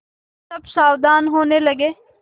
सब सावधान होने लगे